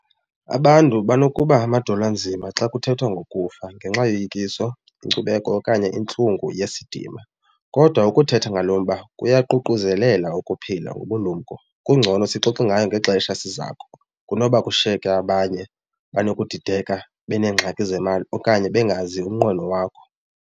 Abantu banokuba amadolo anzima xa kuthethwa ngokufa ngenxa yoyikiswa inkcubeko okanye intlungu yesidima kodwa ukuthetha ngalo mba kuyaququzelela ukuphila ngobulumko. Kungcono sixoxe ngayo ngexesha sizako kunoba kushiyeke abanye banokudideka beenengxaki zemali okanye bengazi umnqweno wakho.